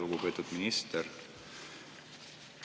Lugupeetud minister!